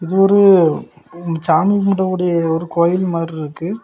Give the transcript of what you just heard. இது ஒரு சாமி கும்பிடகூடிய ஒரு கோயில் மாதிரி இருக்கு.